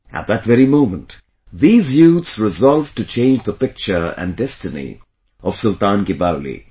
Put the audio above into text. At that very moment these youths resolved to change the picture and destiny of Sultan Ki Baoli